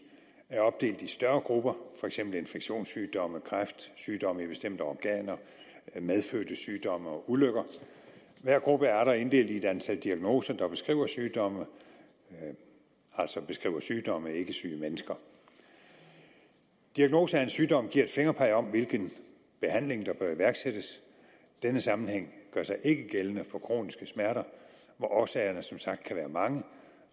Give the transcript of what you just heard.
er opdelt i større grupper for eksempel infektionssygdomme kræft sygdomme i bestemte organer medfødte sygdomme og ulykker hver gruppe er atter inddelt i et antal diagnoser der beskriver sygdommene altså beskriver sygdomme og ikke syge mennesker diagnose af en sygdom giver et fingerpeg om hvilken behandling der bør iværksættes denne sammenhæng gør sig ikke gældende for kroniske smerter hvor årsagerne som sagt kan være mange